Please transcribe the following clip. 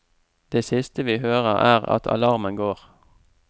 Det siste vi hører er at alarmen går.